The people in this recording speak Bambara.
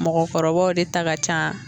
Mɔgɔkɔrɔbaw de ta ka can